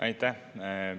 Aitäh!